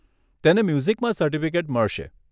તેને મ્યુઝિકમાં સર્ટિફિકેટ મળશે.